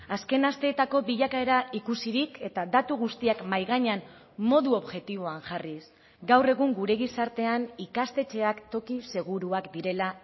azken asteetako bilakaera ikusirik eta datu guztiak mahai gainean modu objektiboan jarriz gaur egun gure gizartean ikastetxeak toki seguruak direla